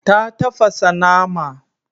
Ta tafasa nama.